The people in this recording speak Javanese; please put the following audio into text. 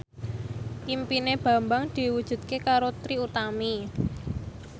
impine Bambang diwujudke karo Trie Utami